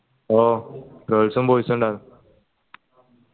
ഓ girls ഉം boys ഉം ഇണ്ടെന്നു